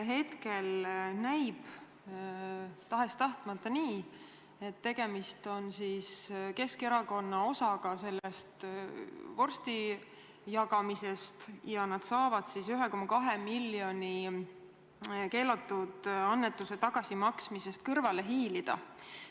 Hetkel näib tahes-tahtmata nii, et tegemist on Keskerakonna osaga sellest vorstide jagamisest ja nad saavad 1,2 miljoni keelatud annetuste tagasimaksmisest kõrvale hiilida.